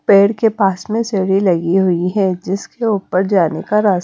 पेड़ के पास में सेड़ी लगी हुई है जिसके ऊपर जाने का रास--